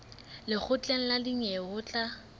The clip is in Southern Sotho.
lekgotleng la dinyewe ho tla